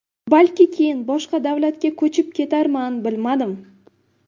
Balki keyin boshqa davlatga ko‘chib ketarman, bilmadim.